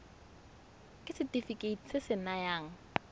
ke setefikeiti se se nayang